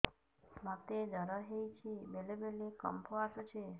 ମୋତେ ଜ୍ୱର ହେଇଚି ବେଳେ ବେଳେ କମ୍ପ ଆସୁଛି